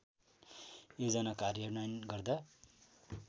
योजना कार्यान्वयन गर्दा